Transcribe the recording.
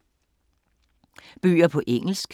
Bøger på engelsk